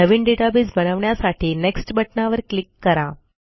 नवीन database बनवण्यासाठी next बटणावर click करा